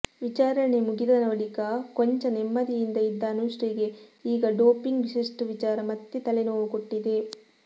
ವಿಚಾರಣೆ ಮುಗಿದ ಬಳಿಕ ಕೊಂಚ ನೆಮ್ಮದಿಯಿಂದ ಇದ್ದ ಅನುಶ್ರೀಗೆ ಈಗ ಡೋಪಿಂಗ್ ಟೆಸ್ಟ್ ವಿಚಾರ ಮತ್ತೆ ತಲೆನೋವು ಕೊಟ್ಟಿದೆ